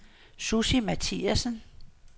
Sussi Mathiasen